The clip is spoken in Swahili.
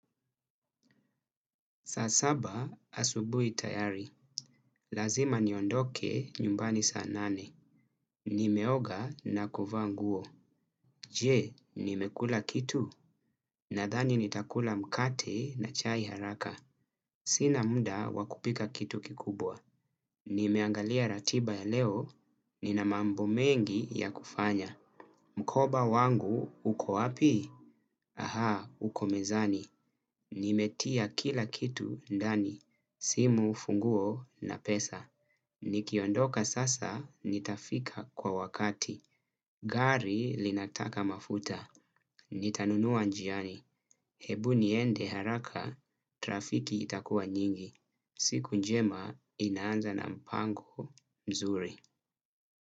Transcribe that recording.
Saa saba asubuhi tayari. Lazima niondoke nyumbani saa nane. Nimeoga na kuvaa nguo. Je, nimekula kitu. Nadhani nitakula mkate na chai haraka. Sina muda wakupika kitu kikubwa. Nimeangalia ratiba ya leo. Nina mambo mengi ya kufanya. Mkoba wangu, uko wapi? Aha, uko mezani. Nimetia kila kitu ndani. Simu, funguo na pesa. Nikiondoka sasa, nitafika kwa wakati. Gari linataka mafuta. Nitanunua njiani. Hebu niende haraka, trafiki itakua nyingi. Siku njema inaanza na mpango mzuri.